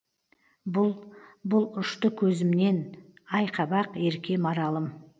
бұл бұл ұшты көзімнен ай қабақ ерке маралым